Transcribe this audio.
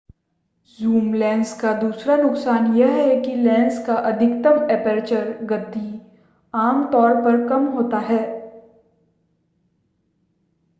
zoom lens का दूसरा नुकसान यह है कि लेंस का अधिकतम एपर्चर गति आम तौर पर कम होता है